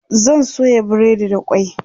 zan soya breadi da kwai